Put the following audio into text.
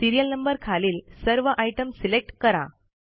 serial number खालील सर्व item select करा